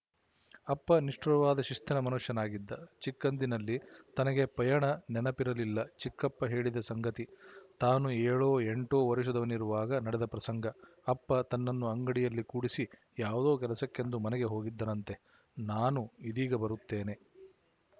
ಅಪ್ಪ ನಿಷ್ಠುರವಾದ ಶಿಸ್ತಿನ ಮನುಷ್ಯನಾಗಿದ್ದ ಚಿಕ್ಕಂದಿನಲ್ಲಿತನಗೆ ಪಯಣ ನೆನಪಿರಲಿಲ್ಲಚಿಕ್ಕಪ್ಪ ಹೇಳಿದ ಸಂಗತಿ ತಾನು ಏಳೋ ಎಂಟೋ ವರುಷದವನಿರುವಾಗ ನಡೆದ ಪ್ರಸಂಗ ಅಪ್ಪ ತನ್ನನ್ನು ಅಂಗಡಿಯಲ್ಲಿ ಕೂಡಿಸಿ ಯಾವುದೋ ಕೆಲಸಕ್ಕೆಂದು ಮನೆಗೆ ಹೋಗಿದ್ದನಂತೆ ನಾನು ಇದೀಗ ಬರುತ್ತೇನೆ